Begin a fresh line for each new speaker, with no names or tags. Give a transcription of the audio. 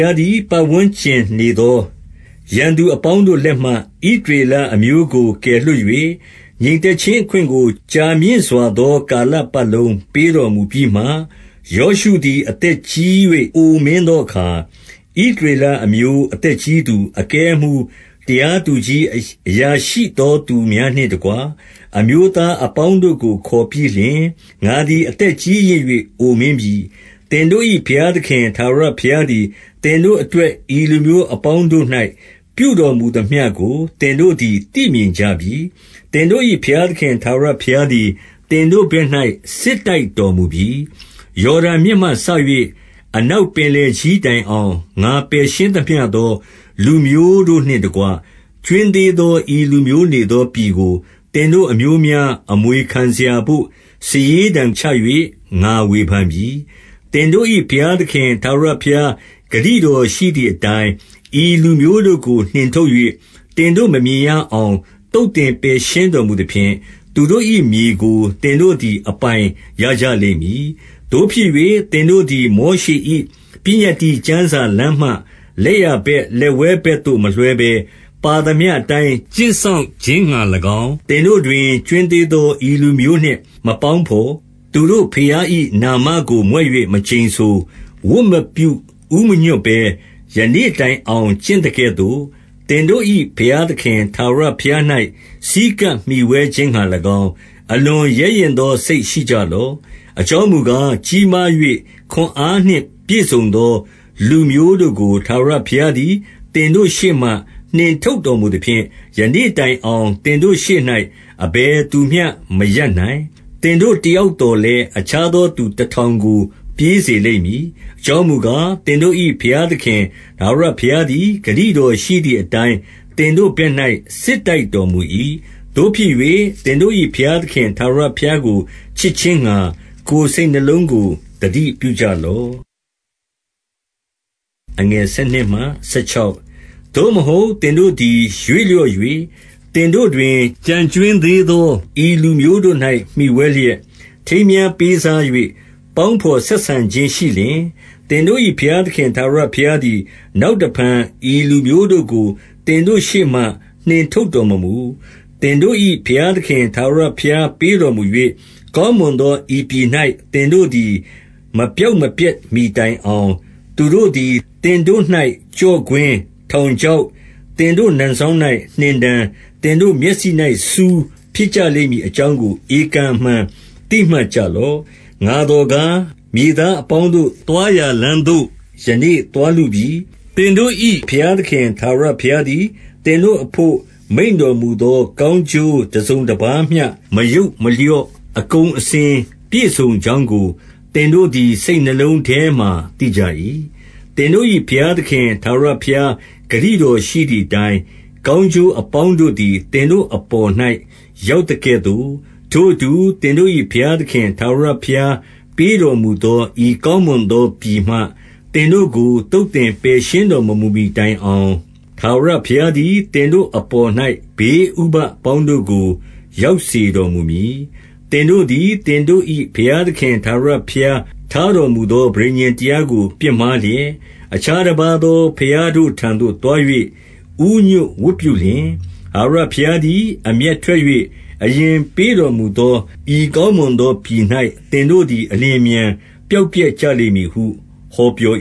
ားသည် ပတ်ဝန်းကျင်နေသော ရန်သူအပေါင်းတို့လက်မှ ဣသရေလအမျိုးကို ကယ်လွှတ် ၍၊ ငြိမ်သက်ခြင်းအခွင့်ကို ကြာမြင့်စွာသော ကာလပတ် လုံး ပေးတော်မူပြီးမှ၊ ယောရှုသည် အသက်ကြီး၍ အိုမင်း သောအခါ၊ ဣသရေလအမျိုး အသက်ကြီးသူ၊ အကဲအမှူး၊ တရားသူကြီး၊ အရာရှိသောသူများနှင့်တကွ အမျိုးသား အပေါင်းတို့ကို ခေါ်ပြီးလျှင်၊ ငါသည် အသက်ကြီးရင့်၍ အိုမင်းပြီ။ သင်တို့၏ဘုရားသခင် ထာဝရဘုရားသည် သင် တို့အတွက် ဤလူမျိုးအပေါင်းတို့၌ ပြုတော်မူသမျှကို သင် တို့သည် သိမြင်ကြပြီ။ သင်တို့၏ဘုရားသခင် ထာဝရ ဘုရားသည် သင်တို့ဘက်၌ စစ်တိုက်တော်မူပြီ။ ယော်ဒန်မြစ်မှစ၍ အနောက်ပင်လယ်ကြီးတိုင် အောင်၊ ငါပယ်ရှင်းသမျှသော လူမျိုးတို့နှင့်တကွ ကြွင်း သေးသော ဤလူမျိုးနေသောပြည်ကို သင်တို့အမျိုးများ အမွေခံစရာဘို့ စာရေးတံချ၍ ငါဝေဖန်ပြီ။ သင်တို့၏ ဘုရားသခင် ထာဝရဘုရား ဂတိ တော်ရှိသည်အတိုင်း၊ ဤလူမျိုးတို့ကို နှင်ထုတ်၍ သင်တို့ မမြင်ရအောင် သုတ်သင်ပယ်ရှင်းတော်မူသဖြင့်၊ သူတို့၏ မြေကို သင်တို့သည် အပိုင်ရကြလိမ့်မည်။ သို့ဖြစ်၍ သင်တို့သည် မောရှေ၏ပညတ္တိကျမ်း စာလမ်းမှ လက်ျာဘက် ဘက်ဝဲဘက်သို့ မလွှဲဘဲ၊ ပါသမျှ အတိုင်း ကျင့်စောင့်ခြင်းငှါ၎င်း၊ သင်တို့တွင် ကြွင်းသေးသော ဤလူမျိုးနှင့် မပေါင်းဘော်၊ သူတို့ဘုရား၏နာမကို မြွက်၍ မကျိန်ဆို၊ ဝတ်မပြု ဦးမညွှတ်ဘဲ၊ ယနေ့တိုင်အောင် ကျင့်သကဲ့သို့၊ သင်တို့၏ ဘုရားသခင် ထာဝရဘုရား၌ ဆည်းကပ်မှီဝဲခြင်းငှါ၎င်း၊ အလွန်ရဲရင့်သောစိတ် ရှိကြလော့။ အကြောင်းမူကား၊ ကြီးမား၍ ခွန်အားနှင့်ပြည့်စုံ သော လူမျိုးတို့ကို ထာဝရဘုရားသည် သင်တို့ရှေ့မှ နှင်ထုတ်တော်မူသဖြင့်၊ ယနေ့တိုင်အောင် သင်တို့ရှေ့၌ အဘယ်သူမျှ မရပ်နိုင်။ သင်တို့တယောက်သော်လည်း အခြားသော သူ တထောင်ကို ပြေးစေလိမ့်မည်။ အကြောင်းမူကား၊ သင်တို့ ၏ ဘုရားသခင် ထာဝရဘုရားသည် ဂတိတော်ရှိသည် အတိုင်း သင်တို့ဘက်၌ စစ်တိုက်တော်မူ၏။ သို့ဖြစ်၍ သင်တို့၏ဘုရားသခင် ထာဝရဘုရား ကို ချစ်ခြင်းငှါ ကိုယ်စိတ်နှလုံးကို သတိပြုကြလော့။ သို့မဟုတ် သင်တို့သည် ရွေ့လျော့၍၊ သင်တို့တွင် ကျန်ကြွင်းသေးသော ဤလူမျိုးတို့၌ မှီဝဲလျက်၊ ထိမ်းမြား ပေးစား၍ ပေါင်းဘော်ဆက်ဆံခြင်းရှိလျှင်၊ သင်တို့၏ဘုရားသခင် ထာဝရဘုရားသည် နောက်တဖန် ဤလူမျိုးတို့ကို သင်တို့ရှေ့မှ နှင်ထုတ်တော် မမူ။ သင်တို့၏ဘုရားသခင် ထာဝရဘုရား ပေးတော်မူ၍ ကောင်းမွန်သော ဤပြည်၌ သင်တို့သည် မပျောက်မပျက် မှီတိုင်အောင် သူတို့သည် သင်တို့၌ ကျော့ကွင်း၊ ထောင် ချောက်၊ သင်တို့ နံစောင်၌ နှင်တံ၊ သင်တို့မျက်စိ၌ ဆူး ဖြစ်ကြလိမ့်မည် အကြောင်းကို ဧကန်အမှန် သိမှတ်ကြ လော့။ ငါသော်ကား၊ မြေသားအပေါင်းတို့သွားရာလမ်း သို့ ယနေ့သွားလုပြီ။ သင်တို့၏ဘုရားသခင် ထာဝရ ဘုရားသည် သင်တို့အဘို့ မိန့်တော်မူသော ကောင်းကျိုး တစုံတပါးမျှ မယုတ်မလျော့၊ အကုန်အစင်ပြည့်စုံကြောင်း ကို သင်တို့သည် စိတ်နှလုံးထဲမှာ သိကြ၏။ သင်တို့၏ ဘုရားသခင် ထာဝရဘုရား ဂတိ တော်ရှိသည်အတိုင်း၊ ကောင်းကျိုးအပေါင်းတို့သည် သင်တို့အပေါ်၌ ရောက်သကဲ့သို့၊ ထိုအတူ သင်တို့၏ ဘုရားသခင် ထာဝရဘုရားပေးတော်မူသော ဤကောင်း မွန်သောပြည်မှ သင်တို့ကို သုတ်သင်ပယ်ရှင်းတော်မမူမှီ တိုင်အောင်၊ ထာဝရဘုရားသည် သင်တို့အပေါ်၌ ဘေး ဥပဒ်အပေါင်းတို့ကို ရောက်စေတော်မူမည်။ သင်တို့သည် သင်တို့၏ဘုရားသခင် ထာဝရ ဘုရားထားတော်မူသော ပဋိညာဉ်တရားကို ပြစ်မှားလျက်၊ အခြားတပါးသော ဘုရားတို့ထံသို့သွား၍ ဦးညွှတ်ဝတ်ပြု လျှင်၊ ထာဝရဘုရားသည် အမျက်ထွက်၍၊ အရင်ပေး တော်မူသော ဤကောင်းမွန်သောပြည်၌ သင်တို့သည် အလျင်အမြန်ပျောက်ပျက်ကြလိမ့်မည်ဟု ဟောပြော